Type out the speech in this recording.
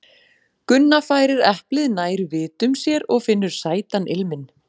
Gunna færir eplið nær vitum sér og finnur sætan ilminn.